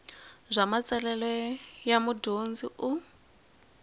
bya matsalelo ya mudyondzi u